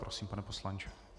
Prosím, pane poslanče.